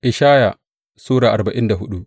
Ishaya Sura arba'in da hudu